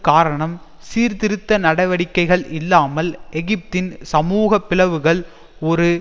காரணம் சீர்திருத்த நடவடிக்கைகள் இல்லாமல் எகிப்தின் சமூக பிளவுகள் ஒரு